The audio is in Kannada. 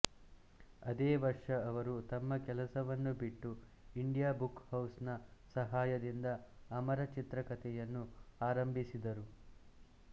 ಅದೇ ವರ್ಷ ಅವರು ತಮ್ಮ ಕೆಲಸವನ್ನು ಬಿಟ್ಟು ಇಂಡಿಯಾ ಬುಕ್ ಹೌಸ್ ನ ಸಹಾಯದಿಂದ ಅಮರ ಚಿತ್ರಕಥೆಯನ್ನು ಆರಂಭಿಸಿದರು